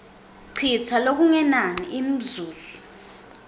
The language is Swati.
citsa lokungenani imizuzu